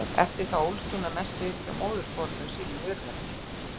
Eftir það ólst hún að mestu upp hjá móðurforeldrum sínum í Urðarteigi.